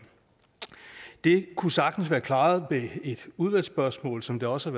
det kunne sagtens være klaret med et udvalgsspørgsmål som det også